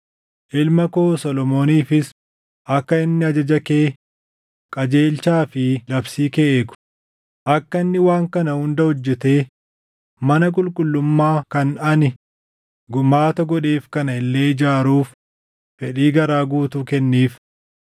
Ilma koo Solomooniifis akka inni ajaja kee, qajeelchaa fi labsii kee eegu, akka inni waan kana hunda hojjetee mana qulqullummaa kan ani gumaata godheef kana illee ijaaruuf fedhii garaa guutuu kenniif.”